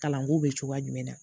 Kalanko bɛ cogoya jumɛn na.